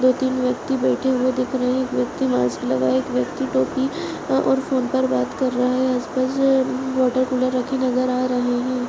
दो-तीन व्यक्ति बैठे हुए दिख रहे है एक व्यक्ति मास्क लगाए एक व्यक्ति टोपी और फोन पर बात कर रहा है आस-पास वॉटर कूलर रखे नज़र आ रहे है।